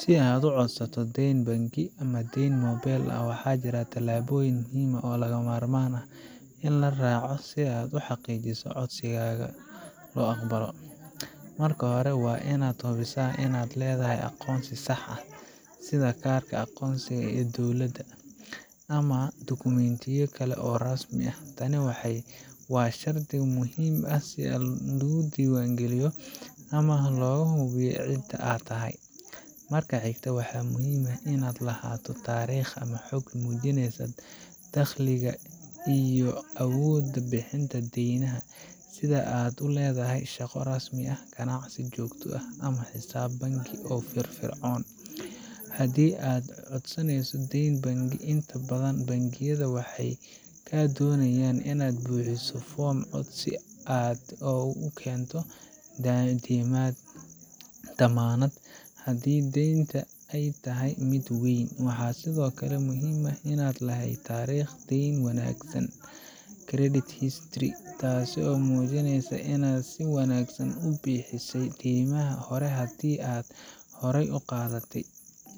Si aad u codsato deyn bangi ama deyn mobayl ah, waxaa jira tillaabooyin muhiim ah oo lagama maarmaan ah in la raaco si aad u xaqiijiso in codsigaaga la aqbalo: Marka hore, waa inaad hubisaa inaad leedahay aqoonsi sax ah sida kaarka aqoonsiga ee dowladda ama dukumentiyo kale oo rasmi ah. Tani waa shardi muhiim ah si aad isu diiwaangeliso ama looga hubiyo cidda aad tahay. Marka xigta, waxaa muhiim ah inaad lahaato taariikh ama xog muujinaysa dakhligaa iyo awoodaada bixinta deymaha, sida in aad leedahay shaqo rasmi ah, ganacsi joogto ah ama xisaab bangi oo firfircoon. Haddii aad codsaneyso deyn bangi, inta badan bangiyada waxay kaa doonayaan inaad buuxiso foom codsi oo aad keento dammaanad haddii deynta ay tahay mid weyn. Waxaa sidoo kale muhiim ah inaad lahayd taariikh deyn wanaagsan credit history, taas oo muujinaysa inaad si wanaagsan u bixisay deymaha hore haddii aad horey u qaadatay.